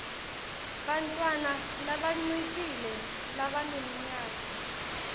bantfwana labancikile labaneminyaka